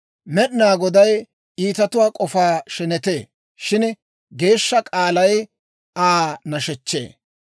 Med'inaa Goday iitatuwaa k'ofaa shenetee; shin geeshsha k'aalay Aa nashechchee.